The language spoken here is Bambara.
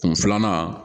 Kun filanan